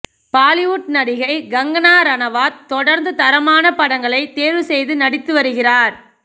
பாலிவுட் நடிகை கங்கனா ரணவாத் தொடர்ந்து தரமான படங்களை தேர்வு செய்து நடித்து வருகிறார்